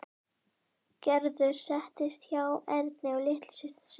Gerður settist hjá Erni og litlu systur sinni.